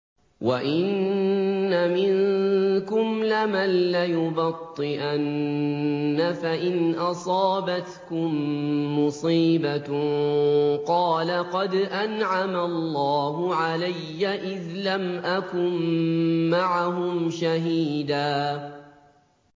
وَإِنَّ مِنكُمْ لَمَن لَّيُبَطِّئَنَّ فَإِنْ أَصَابَتْكُم مُّصِيبَةٌ قَالَ قَدْ أَنْعَمَ اللَّهُ عَلَيَّ إِذْ لَمْ أَكُن مَّعَهُمْ شَهِيدًا